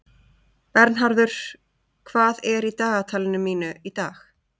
Bernharður, hvað er í dagatalinu mínu í dag?